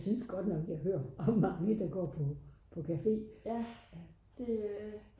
jeg synes godt nok jeg hører om mange der går på cafe